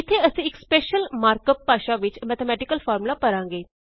ਇਥੇ ਅਸੀਂ ਇੱਕ ਸ੍ਪੈਸ਼ਲ ਮਾਰਕ ਅਪ ਭਾਸ਼ਾ ਵਿੱਚ ਮੈਥੇਮੈਟਿਕਲ ਫ਼ਾਰਮੂਲਾ ਭਰਾਂਗੇ